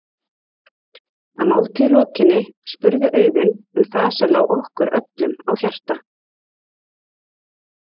Að máltíð lokinni spurði Auðunn um það sem lá okkur öllum á hjarta.